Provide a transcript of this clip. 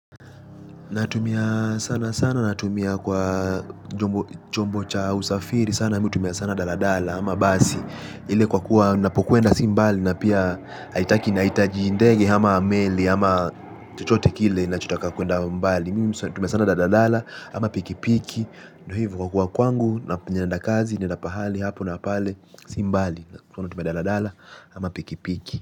Natumia sana sana natumia kwa chombo cha usafiri sana mihutumia sana daladala ama basi. Ile kwa kuwa napokuenda si mbali na pia haitaki nahitaji ndege ama meli ama tchichote kile na chotaka kuenda mbali. Mihutumia sana daladala ama pikipiki. Ndio hivo kwa kuwa kwangu na pinyenda kazi nenda pahali hapo na pale simbali. Kwa na tumia daladala ama pikipiki.